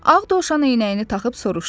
Ağ Dovşan eynəyini taxıb soruşdu.